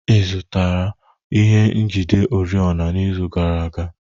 Ị zụtara ihe njide oriọna n'izu gara aga?